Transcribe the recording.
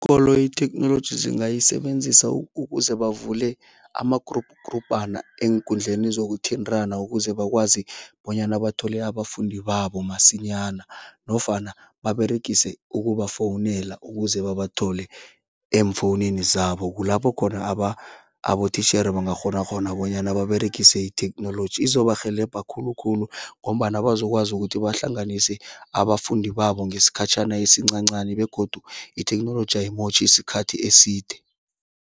koloyi itheknoloji zingayisebenzisa ukuze bavule ama-group grubhana eenkundleni zokuthintana ukuze bakwazi bonyana bathole abafundi babo masinyana nofana baberegise ukubafowunela ukuze babathole eemfowunini zabo, kulapho khona abotitjhere bangakghona khona bonyana baberegise itheknoloji. Izobarhelebha khulukhulu ngombana bazokwazi ukuthi bahlanganise abafundi babo ngesikhatjhana esincancani begodu itheknoloji ayimotjhi isikhathi eside.